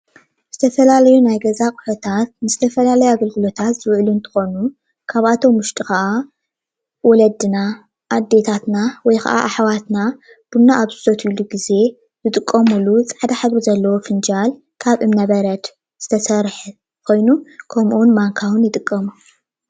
ዝተፈላለዩ ናይ ገዛ ኣቁሑታት ንዝተፈላለዩ ኣገልግሎታት ዝውዕል ኮይኑ ካብኣቶም ውሽጢ ኸዓ ወለድና ፣አዴታትና ወይ ከዓ ኣሕዌትና ቡና ኣብ ዝሰትዩሉ ግዜ ዝጥቀምሉ ፍንጃል፣ ማንካ ይርከብዎሞ።